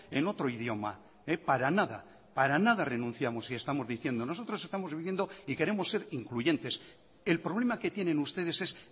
en otro idioma para nada para nada renunciamos y estamos diciendo nosotros estamos viviendo y queremos ser incluyentes el problema que tienen ustedes es